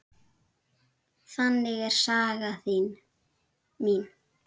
Þannig er saga mín.